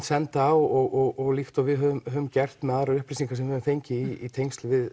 senda og líkt og við höfum gert með aðrar upplýsingar sem við höfum fengið í tengslum við